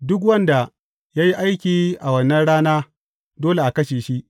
Duk wanda ya yi aiki a wannan rana dole a kashe shi.